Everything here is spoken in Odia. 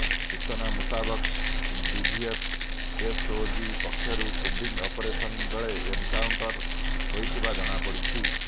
ସୂଚନା ମୁତାବକ ଡିଭିଏଫ୍ ଏସଓଜି ପକ୍ଷରୁ କମ୍ବିଂ ଅପରେସନ ବେଳେ ଏନକାଣ୍ଟର ହୋଇଥିବା ଜଣାପଡ଼ିଛି